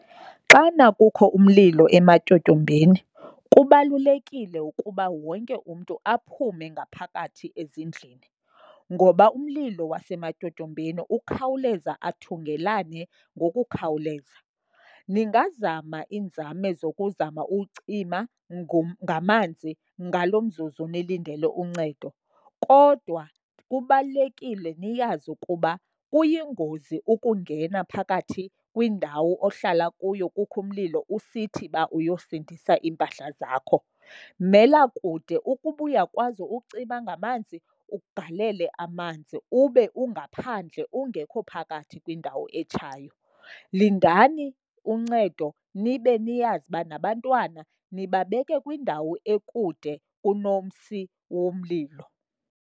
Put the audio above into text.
Xana kukho umlilo ematyotyombeni kubalulekile ukuba wonke umntu aphume ngaphakathi ezindlini, ngoba umlilo wasematyotyombeni ukhawuleza athungelane ngokukhawuleza. Ningazama iinzame zokuzama uwucima ngamanzi ngalo mzuzu nilindele uncedo, kodwa kubalulekile niyazi ukuba kuyingozi ukungena phakathi kwindawo ohlala kuyo kukho umlilo usithi uba uyosindisa iimpahla zakho. Mela kude. Ukuba uyakwazi ucima ngamanzi, ugalele amanzi ube ungaphandle ungekho phakathi kwindawo etshayo. Lindani uncedo nibe niyazi uba nabantwana nibabeke kwindawo ekude kunomsi womlilo.